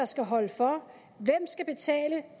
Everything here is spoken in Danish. skal holde for hvem skal betale